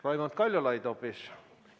Raimond Kaljulaid hoopis?